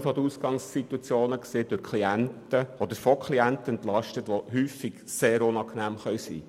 Diese Entlastung betrifft primär Klienten, welche sehr unangenehm sein können.